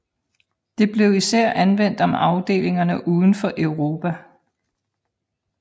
Det blev især anvendt om afdelinger uden for Europa